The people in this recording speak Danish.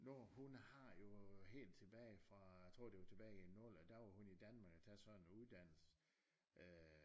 Når hun har jo øh helt tilbage fra tror det var tilbage i nullerne der var hun i Danmark og tage sådan en uddannelse